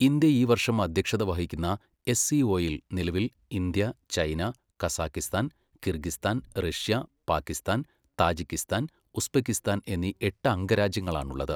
India ഈ വർഷം അധ്യക്ഷത വഹിക്കുന്ന എസ്.സി.ഒയിൽ നിലവിൽ India, China, Kazakhstan, Kyrgyzstan, Russia, Pakistan, Tajikistan, Uzbekistan എന്നീ എട്ട് അംഗരാജ്യങ്ങളാണുള്ളത്.